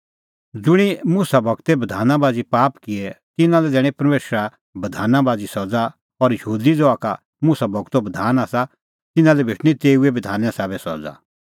ज़ुंणी मुसा गूरे बधाना बाझ़ी पाप किऐ तिन्नां लै दैणीं परमेशरा बधाना बाझ़ी सज़ा और यहूदी ज़हा का मुसा गूरो बधान आसा तिन्नां लै भेटणीं तेऊ ई बधाने साबै सज़ा